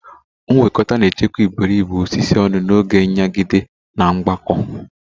Mwekota na-echekwa iberibe osisi ọnụ na oge nyagide na mgbakọ.